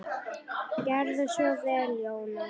Gerðu svo vel, Jónas!